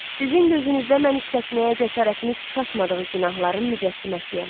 Sizin gözünüzdə mən işlətməyə cəsarətiniz çatmadığı günahların mücəssiməsiyəm.